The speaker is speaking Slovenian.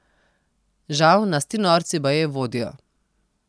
Žal nas ti norci baje vodijo.